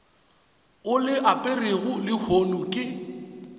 o le aperego lehono ke